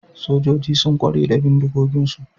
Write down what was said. Sojoji sun kware da bindigoginsu